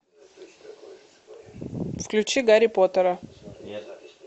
включи гарри поттера